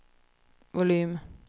volym